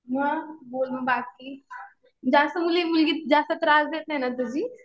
मग बोल बाकी जास्त मुलगी, मुलगी जास्त त्रास देतेय ना तुझी.